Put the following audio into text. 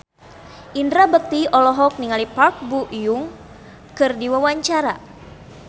Indra Bekti olohok ningali Park Bo Yung keur diwawancara